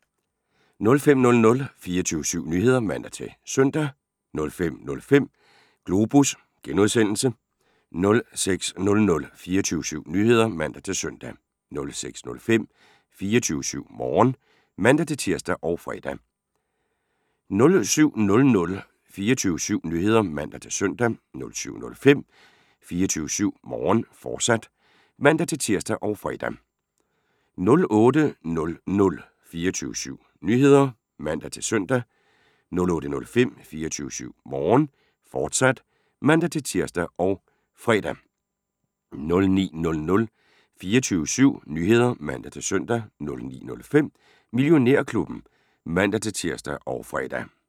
05:00: 24syv Nyheder (man-søn) 05:05: Globus (G) 06:00: 24syv Nyheder (man-søn) 06:05: 24syv Morgen (man-tir og fre) 07:00: 24syv Nyheder (man-søn) 07:05: 24syv Morgen, fortsat (man-tir og fre) 08:00: 24syv Nyheder (man-søn) 08:05: 24syv Morgen, fortsat (man-tir og fre) 09:00: 24syv Nyheder (man-søn) 09:05: Millionærklubben (man-tir og fre)